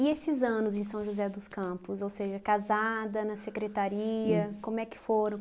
E esses anos em São José dos Campos, ou seja, casada, na secretaria, como é que foram?